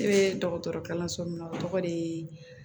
Ne bɛ dɔgɔtɔrɔ kalanso min na o tɔgɔ de ye